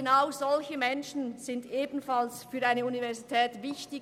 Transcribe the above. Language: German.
Genau solche Menschen sind für eine Universität wichtig.